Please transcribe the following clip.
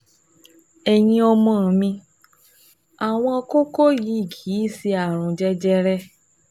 Ẹ̀yin ọmọ mi, àwọn kókó yìí kì í ṣe ààrùn jẹjẹrẹ